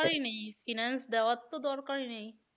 Finance দেওয়ার তো দরকারই নেই।